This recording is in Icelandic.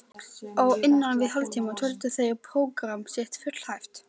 Á innan við hálftíma töldu þeir prógramm sitt fullæft.